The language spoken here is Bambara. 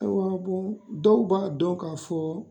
dɔw b'a dɔn ka fɔ